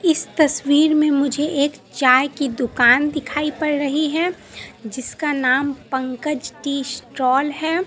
इस तस्वीर में मुझे एक चाय की दुकान दिखाई पड़ रही है जिसका नाम पंकज टी स्टाल है।